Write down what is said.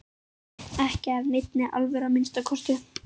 Ekki af neinni alvöru að minnsta kosti.